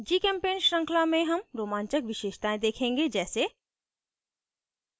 gchempaint श्रृंखला में हम रोमांचक विशेषतायें देखेंगे जैसे